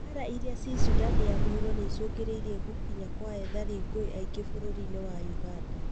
Mbara irĩa ciĩ Sudan ya Mũhuro nĩicũngĩrĩirie gũkinya kwa ethari ngũĩ aingĩ bũrũri-inĩ wa ũganda